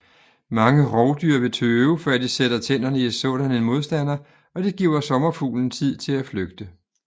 Mange rovdyr vil tøve før de sætter tænderne i sådan en modstander og det giver sommerfuglen tid til at flygte